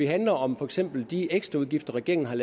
handler om for eksempel de ekstraudgifter regeringen er